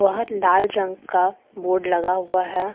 बाहर लाल रंग का बोर्ड लगा हुआ है।